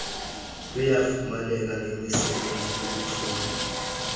luyafumaneka ngemisebenzi yobuchule